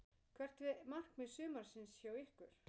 Hvert er markmið sumarsins hjá ykkur?